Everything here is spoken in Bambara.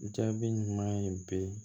Jaabi ɲuman ye bi